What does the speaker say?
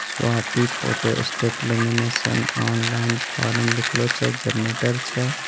Swati photo state lamination online forum लिखलों छै । Generator छै ।